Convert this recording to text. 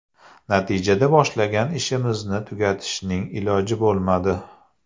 Natijada boshlagan ishimizni tugatishning iloji bo‘lmadi.